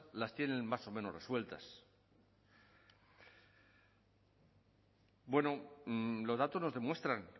las tienen más o menos resueltas bueno los datos nos demuestran